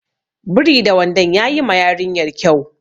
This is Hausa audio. Biri da wandon yayi ma yarinyar kyau.